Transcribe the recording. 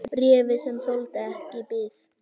Bréfið, sem þoldi ekki bið